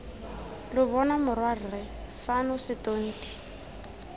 lo bona morwarre fano setonti